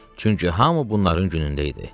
Çünki hamı bunların günündə idi.